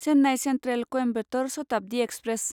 Chennai central Coimbatore Shatabdi express